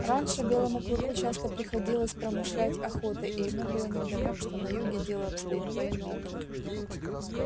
раньше белому клыку часто приходилось промышлять охотой и ему было невдомёк что на юге дело обстоит по иному